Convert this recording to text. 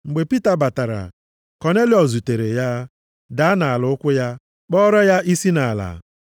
Mgbe Pita batara, Kọnelịọs zutere ya, daa nʼala nʼụkwụ ya, kpọọrọ ya isi nʼala.